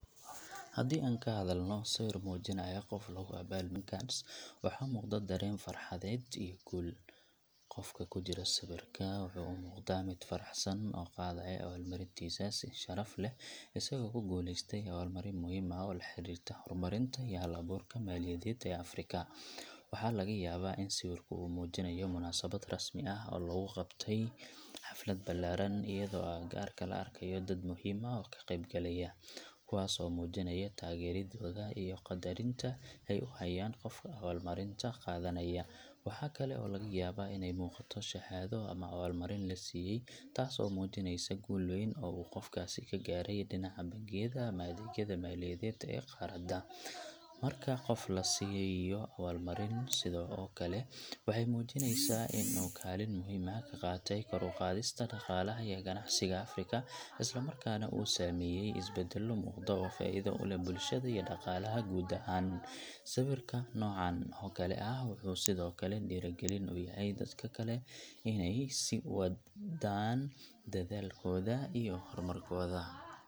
Haddii aan ka hadalno sawir muujinaya qof lagu abaalmariyay Africa Banker Awards, waxaa muuqda dareen farxadeed iyo guul. Qofka ku jira sawirka wuxuu u muuqdaa mid faraxsan oo qaadaya abaalmarintiisa si sharaf leh, isagoo ku guuleystay abaalmarin muhiim ah oo la xiriirta horumarinta iyo hal-abuurka maaliyadeed ee Afrika. Waxaa laga yaabaa in sawirku uu muujinayo munaasabad rasmi ah oo lagu qabtay xaflad ballaaran, iyadoo agagaarka la arkayo dad muhiim ah oo ka qeyb galaya, kuwaas oo muujinaya taageeradooda iyo qaddarinta ay u hayaan qofka abaalmarinta qaadanaya. Waxaa kale oo laga yaabaa inay muuqato shahaado ama abala-marinta la siiyay, taas oo muujineysa guul weyn oo uu qofkaasi ka gaaray dhinaca bangiyada ama adeegyada maaliyadeed ee qaaradda. Marka qof la siiyo abaalmarin sidan oo kale ah, waxay muujinaysaa in uu kaalin muhiim ah ka qaatay kor u qaadista dhaqaalaha iyo ganacsiga Afrika, isla markaana uu sameeyay isbeddello muuqda oo faa'iido u leh bulshada iyo dhaqaalaha guud ahaan. Sawirka noocan oo kale ah wuxuu sidoo kale dhiirrigelin u yahay dadka kale inay sii wadaan dadaalkooda iyo horumarkooda.